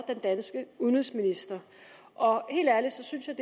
den danske udenrigsminister og helt ærligt synes jeg